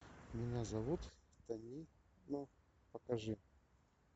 меня зовут танино покажи